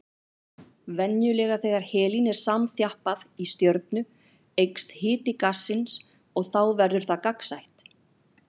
Venjulega þegar helín er samþjappað í stjörnu eykst hiti gassins og þá verður það gagnsætt.